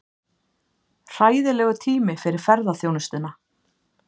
Hræðilegur tími fyrir ferðaþjónustuna